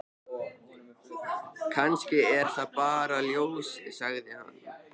Kannski er það bara ljósið, sagði hann.